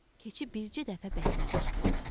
Keçi bircə dəfə bərkdən qışqırdı.